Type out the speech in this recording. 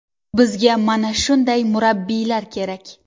Bizga mana shunday murabbiylar kerak.